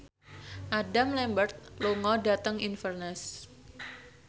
Adam Lambert lunga dhateng Inverness